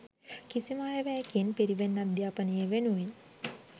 කිසිම අයවැයකින් පිරිවෙන් අධ්‍යාපනය වෙනුවෙන්